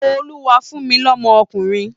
Olúwa fún mi ọmọkunrin!